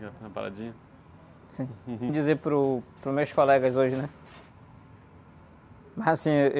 Sim, dizer para os, para os meus colegas hoje, né? Assim, êh...